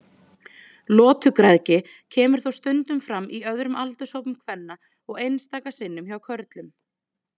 Lotugræðgi kemur þó stundum fram í öðrum aldurshópum kvenna og einstaka sinnum hjá körlum.